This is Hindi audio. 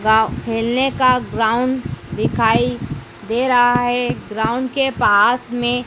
गांव खेलने का ग्राउंड दिखाई दे रहा है ग्राउंड के पास में--